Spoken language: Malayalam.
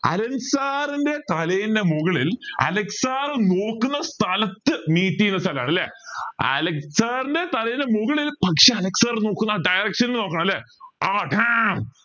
അലൻ sir ൻ്റെ തലയിന്റെ മുകളിൽ അലൻ SIR നോക്കുന്ന സ്ഥലത്തു meet ചെയുന്ന സ്ഥലാണ് അല്ലെ അലൻ sir ൻ്റെ തലയിന്റെ മുകളിൽ പക്ഷെ അല sir നോക്കുന്ന ആ direction ൽ നോക്കണം അല്ലെ